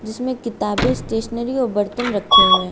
इसमें किताबे स्टेशनरी और बर्तन रखे हुए--